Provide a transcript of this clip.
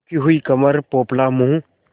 झुकी हुई कमर पोपला मुँह